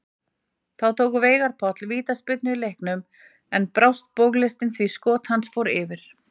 Þá tók Veigar Páll vítaspyrnu í leiknum en brást bogalistin því skot hans fór yfir.